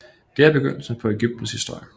Det er begyndelsen på Egyptens historie